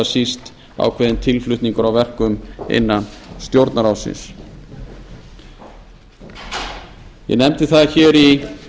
síst ákveðinn tilflutningur á verkum innan stjórnarráðsins ég nefndi það hér í